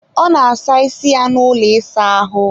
ọ na-asa isi ya n'ụlọ ịsa ahụ